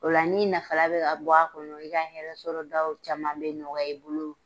O la n'i nafalan bɛ ka bɔ a kɔnɔ, i ka hɛrɛ sɔrɔ daw caman bɛ nɔgɔya e bolo.